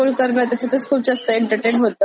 एकतर त्या रिल्स पण आल्यात युटूबवर आता.